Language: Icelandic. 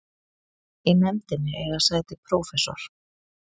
Í nefndinni eiga sæti prófessor